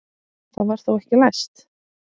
Það var þá ekki læst!